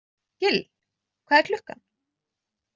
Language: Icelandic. Gill, hvað er klukkan?